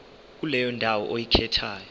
kuleyo ndawo oyikhethayo